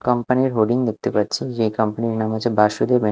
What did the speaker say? company -এর hoarding দেখতে পাচ্ছি যে কম্পানি -এর নাম হচ্ছে বাসুদেব অ্যান্ড --